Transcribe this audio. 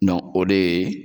o de yeee.